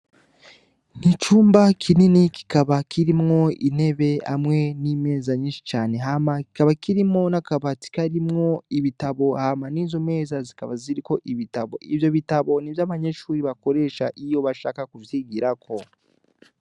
Ni icumba kinini kikaba kirimwo intebe n'imeza nyinshi cane, hama kikaba kirimwo n'akabati karimwo ibitabo, hama n'izo meza zikaba ziriko ibitabo. Ivyo bitabo ni ivyo abanyeshure bakoresha iyo bashaka kuvyigirako.